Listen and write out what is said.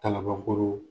Kalabankɔrɔ